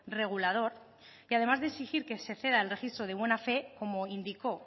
regulador que además de exigir que se ceda el registro de buena fe como indicó